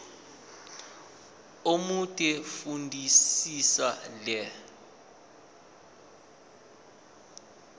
omude fundisisa le